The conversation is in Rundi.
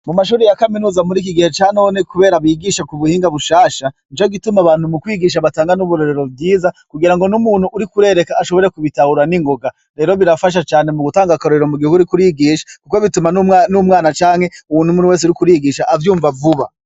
Mu mashure ya kaminuza mur' iki gihe ca none, kubera bigisha k'ubuhinga bushasha, nico gituma abantu mu kwigisha batanga n'uburorero bwiza, kugira ngo n'umuntu uriko urereka ashobore kubitahura n'ingoga. Rero birafasha cane mugutanga akarorero mu gihe uriko urigisha, kuko bituma n'umwana canke uwundi wese uriko urigisha, avyumva vuba.